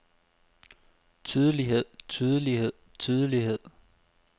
tydelighed tydelighed tydelighed